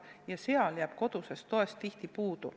Ja seal jääb kodusest toest tihti puudu.